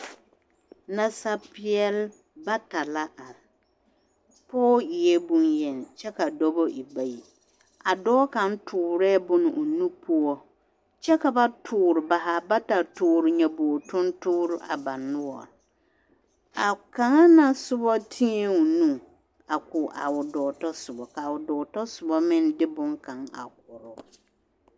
nasapɛle la are pɔge e bonyeni kyɛ ka dɔba e bayi a dɔɔ kang tuure bonkaŋa o nu poɔ kyɛ ka ba zaa bata tuure nyɛboore tuŋtuure a ba zaa noɔre a kaŋa na soba tiɛ o nu a ko a o dɔɔ ta soba kaa o dɔɔ ta soba meŋ de bon kang a koɔre.